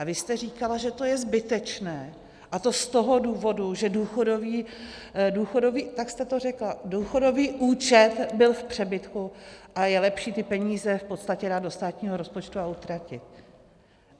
A vy jste říkala, že to je zbytečné, a to z toho důvodu, že důchodový - tak jste to řekla - důchodový účet byl v přebytku a je lepší ty peníze v podstatě dát do státního rozpočtu a utratit.